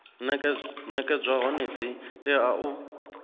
nekedzwa hone dzi tea u